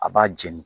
A b'a jeni